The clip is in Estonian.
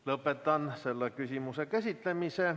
Lõpetan selle küsimuse käsitlemise.